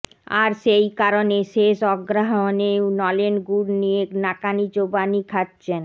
আর সেই কারণে শেষ অগ্রহায়ণেও নলেন গুড় নিয়ে নাকানিচোবানি খাচ্ছেন